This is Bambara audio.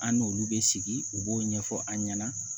An n'olu bɛ sigi u b'o ɲɛfɔ an ɲɛna